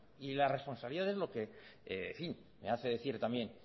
y la responsabilidad es lo que hace decir también